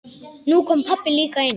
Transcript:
Nú kom pabbi líka inn.